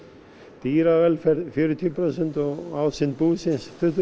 dýravelferð fjörutíu prósent og ásýnd búsins tuttugu